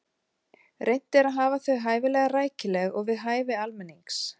Reynt er að hafa þau hæfilega rækileg og við hæfi almennings.